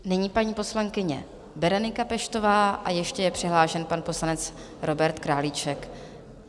Nyní paní poslankyně Berenika Peštová a ještě je přihlášen pan poslanec Robert Králíček.